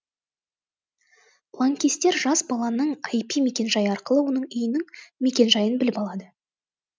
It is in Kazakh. лаңкестер жас баланың ір мекенжайы арқылы оның үйінің мекенжайын біліп алады